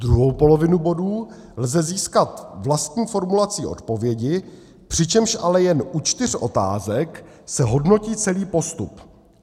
Druhou polovinu bodů lze získat vlastní formulací odpovědi, přičemž ale jen u čtyř otázek se hodnotí celý postup.